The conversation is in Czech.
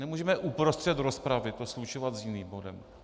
Nemůžeme uprostřed rozpravy to slučovat s jiným bodem.